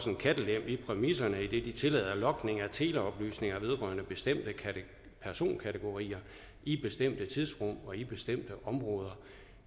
en kattelem i præmisserne idet de tillader logning af teleoplysninger vedrørende bestemte personkategorier i bestemte tidsrum og i bestemte områder